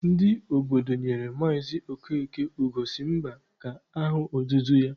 Ndị obodo nyere Maazị Okeke Ugo si mba ka aha otutu ya.